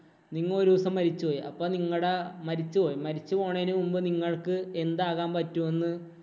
നിങ്ങ ഒരു ദിവസം മരിച്ചുപോയി. അപ്പ നിങ്ങടെ മരിച്ചു പോയി. മരിച്ചു പോണേന് മുമ്പ് നിങ്ങള്‍ക്ക് എന്താകാന്‍ പറ്റുമെന്ന്